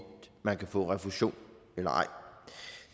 man kan få refusion eller ej